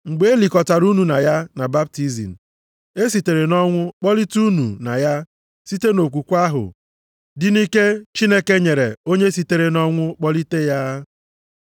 Mgbe e likọtara unu na ya na baptizim, e sitere nʼọnwụ kpọlite unu na ya site nʼokwukwe ahụ dị nʼike Chineke onye sitere nʼọnwụ kpọlite ya.